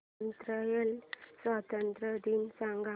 Israel स्वातंत्र्य दिन सांग